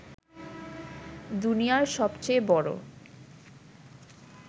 দুনিয়ার সবচেয়ে বড়